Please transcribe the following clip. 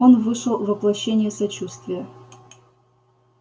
он вышел воплощение сочувствия